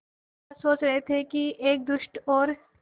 राजा सोच रहे थे कि एक दुष्ट और